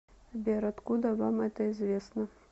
сбер откуда вам это известно